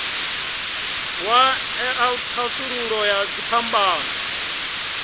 wa ṅea thasululo ya dziphambano